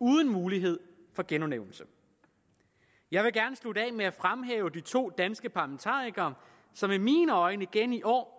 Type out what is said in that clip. uden mulighed for genudnævnelse jeg vil gerne slutte af med at fremhæve de to danske parlamentarikere som i mine øjne igen i år